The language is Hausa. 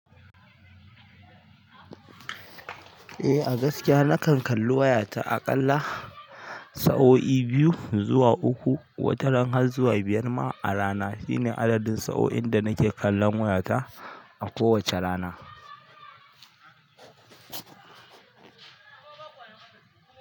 Eh a gaskiya nakan kalli wayata a kalla sa'o'i biyu zuwa uku wataran har zuwa biyar ma arana shine adadin sa'o'in da nake kallon wayata a kowacce rana.